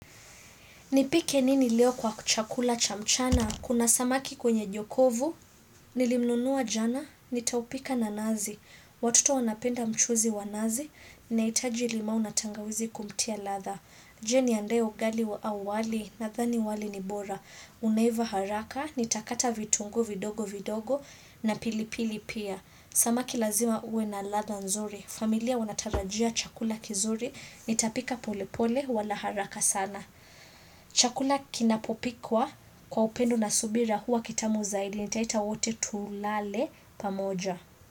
Nipike nini leo kwa chakula chamchana? Kuna samaki kwenye jokovu, nilimnunua jana, nitaupika na nazi. Watoto wanapenda mchuzi wa nazi, nahitaji limau na tangawizi kumtia latha. Je ni andae ugali wa au wali nathani wali ni bora. Unaiva haraka, nitakata vitunguu vidogo vidogo na pilipili pia. Samaki lazima uwe na latha nzuri. Familia wanatarajia chakula kizuri, nitapika pole pole wala haraka sana. Chakula kinapopikwa kwa upendo na subira huwa kitamu zaidi nitaita wote tulale pamoja.